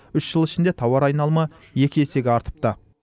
үш жыл ішінде тауар айналымы екі есеге артыпты